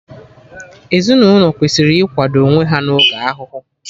Ezinaụlọ kwesịrị ikwado onwe ha na oge ahụhụ